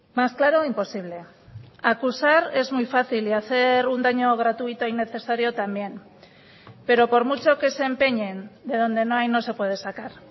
más claro imposible acusar es muy fácil y hacer un daño gratuito innecesario también pero por mucho que se empeñen de donde no hay no se puede sacar